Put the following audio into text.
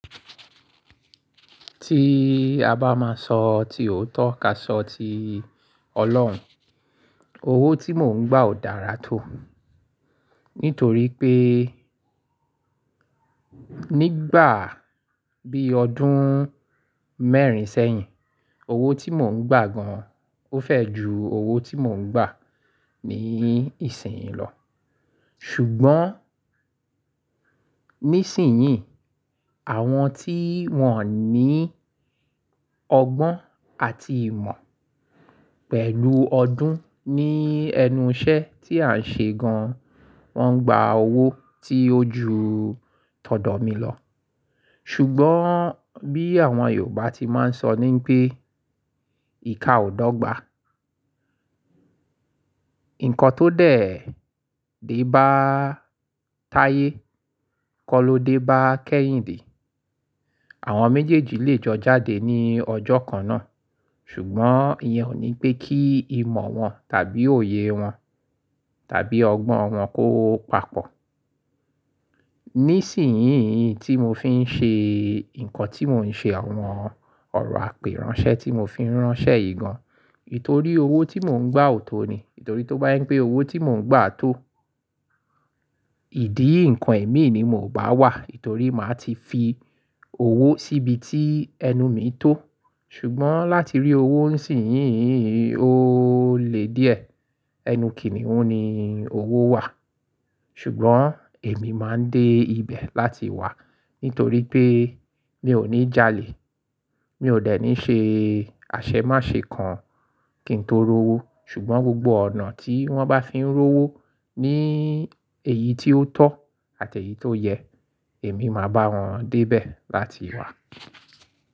Tí a bá máa sọ, tí òótọ́ ká sọ ti Ọlọ́run. Owó tí mò ń gbà ò dára tó, nítorí pé nígbà bí ọdún mẹ́rin sẹ́yìn, owó tí mò ń gbà gan o fẹ̀ ju owó tí mò ń gbà ní ìsìn yìí lọ. Ṣùgbọ́n nísìnyí, àwọn tí wọ́n ní ọgbọ́n àti ìmọ̀ pẹ̀lú ọdún ní ẹnu iṣẹ́ tí à ń ṣe gan, wọ́n ń gba owó tí ó ju tọ̀dọ̀ mi lọ. Ṣùgbọ́n bí àwọn Yorùbá ti máa ń sọ ní pé ìka ò dọ́gba. Nǹkan tó dẹ̀, dé bá táyé, kọ́ lọ dé bá kẹ́yìn dé. Àwọn méjèèjì lè jọ jáde ní ọjọ́ kan náà, ṣùgbọ́n ìyẹn ò ní pé kí ìmọ̀ wọn tàbí òye wọn tàbí ọgbọ́n wọn kó papọ̀. Nísìnyí tí mo fi ń ṣe nǹkan tí mò ń ṣe, àwọn ọ̀rọ̀ apérànṣẹ tí mo fi ń ránṣẹ́ yìí gan, itòrí owó tí mò ń gbà ò tó ni. Ètò rí tó bá yín pé owó tí mò ń gbà tó, ìdí nǹkan imi ni mi ò bá wà. Nitorí màá ti fi owó síbi tí ẹnu mi tó. Ṣùgbọ́n láti rí owó nísìnyí ó le díẹ̀. Ẹnu kìniun ni owó wà. Ṣùgbọ́n èmi máa ń dé ibẹ̀ láti wá nítorí pé mi ò ní jalè. Mi ò dẹ̀ ní ṣe àṣemáṣe kan kí n tó rówó. Ṣùgbọ́n gbogbo ọ̀nà tí wọ́n bá fi ń rówó ní èyí tí ó tọ́ àti èyí tó yẹ, èmi máa bá wọn dé ibẹ̀ láti wá.